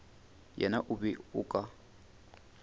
yena o be o ka